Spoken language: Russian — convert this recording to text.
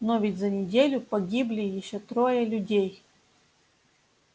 но ведь за неделю погибли ещё трое людей